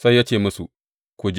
Sai ya ce musu, Ku je.